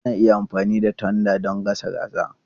Ana iya amfani da tanda don gasa kaza.